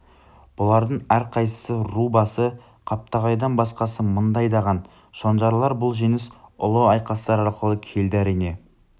бұлардың әрқайсысы ру басы қаптағайдан басқасы мыңды айдаған шонжарлар бұл жеңіс ұлы айқастар арқылы келді әрине